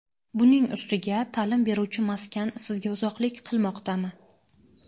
buning ustiga ta’lim beruvchi maskan sizga uzoqlik qilmoqdami?.